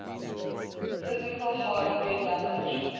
physical hardware damage